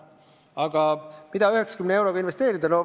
Aga kuidas 90 eurot investeerida?